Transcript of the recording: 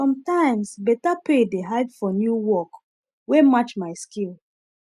sometimes better pay dey hide for new work wey match my skill